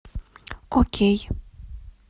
окей